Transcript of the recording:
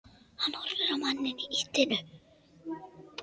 Hann horfir á manninn í ýtunni.